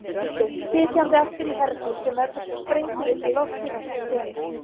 tilgerð, sitjandi aftur í herbíl sem verður svo sprengdur upp í loft í næstu senu.